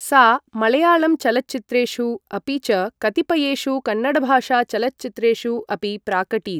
सा मलयाळं चलच्चित्रेषु अपि च कतिपयेषु कन्नडभाषा चलच्चित्रेषु अपि प्राकटीत्।